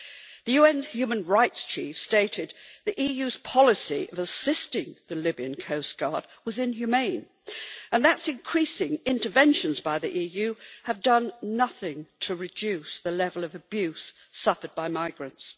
The UN human rights chief stated that the EU's policy of assisting the Libyan coast guard was inhumane and that increasing interventions by the EU have done nothing to reduce the level of abuse suffered by migrants.